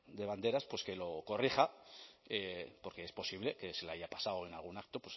de banderas que lo corrija porque es posible que se le haya pasado en algún acto